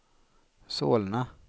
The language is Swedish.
Solna